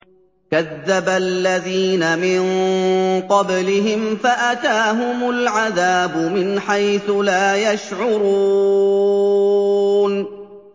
كَذَّبَ الَّذِينَ مِن قَبْلِهِمْ فَأَتَاهُمُ الْعَذَابُ مِنْ حَيْثُ لَا يَشْعُرُونَ